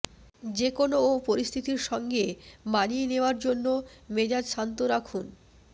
যেকোনও পরিস্থিতির সঙ্গে মানিয়ে নেওয়ার জন্য মেজাজ শান্ত রাখুন